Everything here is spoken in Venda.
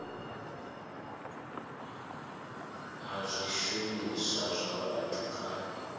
a zwishumiswa zwa vhathu kha